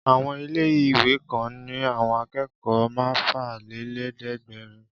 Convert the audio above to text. Àwọn ilé-ìwé kan ní àwọn akẹ́kọ̀ọ́ mẹ́fàlélẹ́ẹ̀dẹ́gbẹ̀rún.